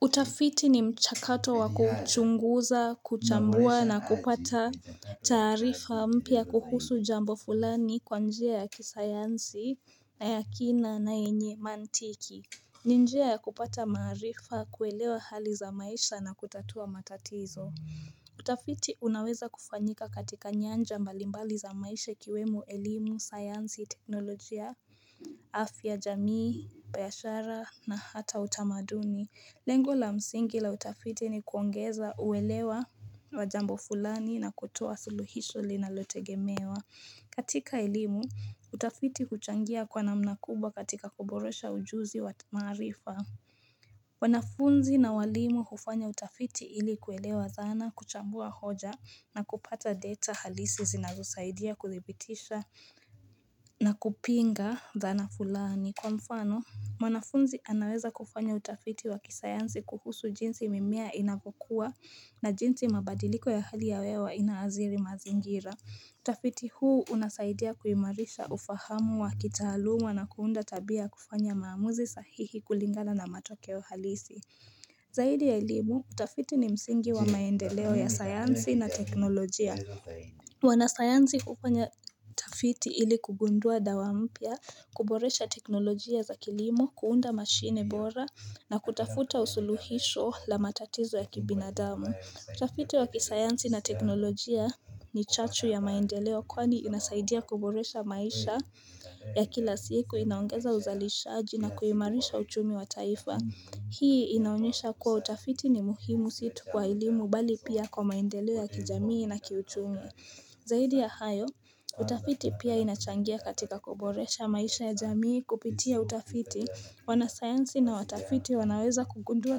Utafiti ni mchakato wako chunguza, kuchambua na kupata tarifa mpya kuhusu jambo fulani kwa njia ya kisayansi na yakina na enye mantiki. Ni njia ya kupata marifa kuelewa hali za maisha na kutatua matatizo. Utafiti unaweza kufanyika katika nyanja mbalimbali za maisha kiwemu elimu, sayansi, teknolojia, afya, jamii, payashara na hata utamaduni. Lengo la msingi la utafiti ni kuongeza uwelewa wa jambo fulani na kutoa suluhisho li nalote gemewa. Katika ilimu, utafiti kuchangia kwa namna kuba katika kuborosha ujuzi wa maarifa. Wanafunzi na walimu kufanya utafiti ili kuelewa dhana, kuchambua hoja na kupata data halisi zinazosaidia kuthibitisha na kupinga dhana fulani. Kwa mfano, mwanafunzi anaweza kufanya utafiti wa kisayansi kuhusu jinsi mimiya inavokuwa na jinsi mabadiliko ya hali ya wewa inaaziri mazingira. Utafiti huu unasaidia kuimarisha ufahamu wa kitaaluma na kuunda tabia kufanya maamuzi sahihi kulingala na matoke wa halisi. Zaidi ya ilimu, utafiti ni msingi wa maendeleo ya sayansi na teknolojia. Wanasayanzi kupanya kafiti ili kugundua dawampia, kuboresha teknolojia za kilimu, kuunda mashine bora na kutafuta usuluhisho la matatizo ya kibinadamu Kutafiti wa kisayanzi na teknolojia ni chachu ya maendeleo kwani inasaidia kuboresha maisha ya kila siku inaongeza uzalisha aji na kuhimarisha uchumi wa taifa Hii inaunyesha kuwa utafiti ni muhimu situ kwa ilimu bali pia kwa maendelewa kijamii na kiutumi Zaidi ya hayo, utafiti pia inachangia katika kuboresha maisha ya jamii kupitia utafiti wana sayansi na watafiti wanaweza kugundua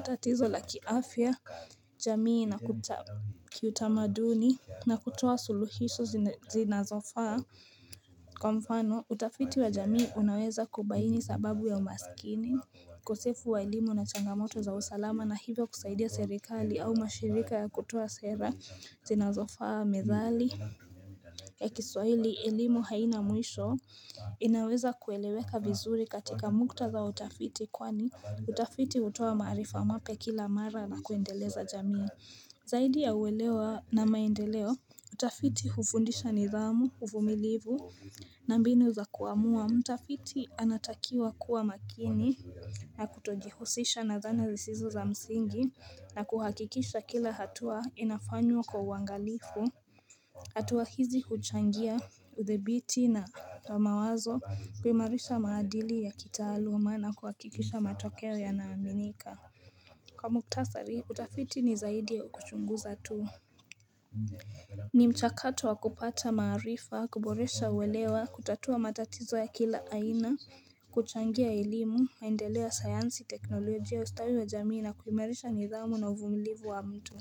tatizo la kiafia jamii na kutamaduni na kutuwa suluhisu zinazofaa Kwa mfano, utafiti wa jamii unaweza kubaini sababu ya umasikini Kusefu wa elimu na changamoto za usalama na hivyo kusaidia serikali au mashirika ya kutua sera zinazofaa medhali ya kiswaili elimu haina mwisho inaweza kueleweka vizuri katika mukta za utafiti kwani utafiti utuwa marifa mape kila mara na kuendeleza jamii zaidi ya uwelewa na maendeleo utafiti hufundisha nidhamu hufumilivu na mbinu za kuamua mtafiti anatakiwa kuwa makini na kutogihusisha na zana zisizo za msingi na kuhakikisha kila hatua inafanywa kwa uangalifu hatuwa hizi kuchangia uthebiti na mawazo kwimarisha maadili ya kitaaluma na kuhakikisha matokea ya naaminika Kwa muktasari kutafiti ni zaidi ya ukuchunguza tuu ni mchakato wa kupata marifa, kuboresha uwelewa, kutatua matatizo ya kila aina, kuchangia elimu, maindelea sayansi teknolojia ustawi wa jamii na kuimerisha nidhamu na uvumilivu wa mtu.